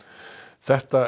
þetta